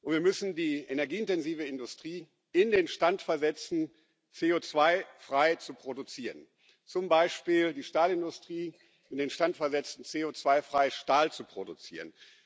Wir müssen die energieintensive Industrie in den Stand versetzen, CO2 frei zu produzieren, zum Beispiel die Stahlindustrie in den Stand versetzen, CO2 frei Stahl zu produzieren.